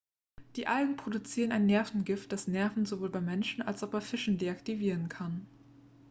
die algen produzieren ein nervengift das nerven sowohl beim menschen als auch bei fischen deaktivieren kann